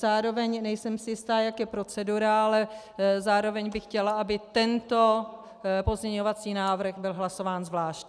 Zároveň si nejsem jistá, jak je procedura, ale zároveň bych chtěla, aby tento pozměňovací návrh byl hlasován zvlášť.